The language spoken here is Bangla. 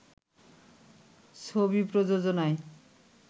ছবি প্রযোজনায়